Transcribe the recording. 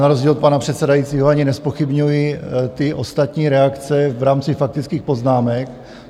Na rozdíl od pana předsedajícího ani nezpochybňuji ty ostatní reakce v rámci faktických poznámek.